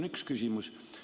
See on üks küsimus.